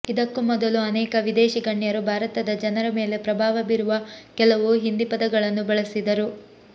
ಇದಕ್ಕೂ ಮೊದಲು ಅನೇಕ ವಿದೇಶಿ ಗಣ್ಯರು ಭಾರತದ ಜನರ ಮೇಲೆ ಪ್ರಭಾವ ಬೀರುವ ಕೆಲವು ಹಿಂದಿ ಪದಗಳನ್ನು ಬಳಸಿದರು